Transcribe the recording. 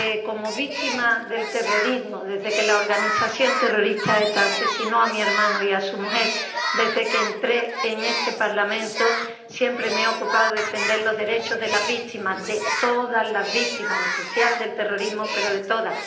Como víctima del terrorismo desde que la organización terrorista ETA asesinó a mi hermano y a su mujer, desde que entré en este Parlamento siempre me he ocupado de defender los derechos de las víctimas de todas las víctimas en especial del terrorismo, pero de todas